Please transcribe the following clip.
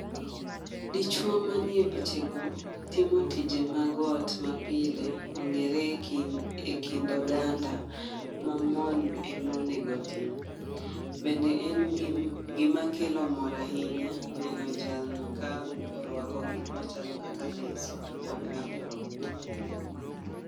Dichuo manie piche go timo tije mag ot ma pile, ong'ere ekind oganda ma mon emonego otim. Bende en gima kelo mor ahinya neno jalno ka orwako gik machalo kaka leso kod apron.